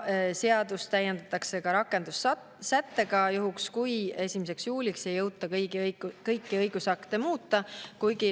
Seadust täiendatakse ka rakendussättega juhuks, kui 1. juuliks ei jõuta kõiki õigusakte muuta.